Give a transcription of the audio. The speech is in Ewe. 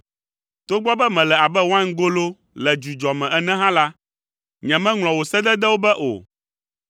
Togbɔ be mele abe waingolo le dzudzɔ me ene hã la, nyemeŋlɔ wò sededewo be o.